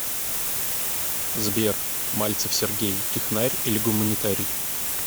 сбер мальцев сергей технарь или гуманитарий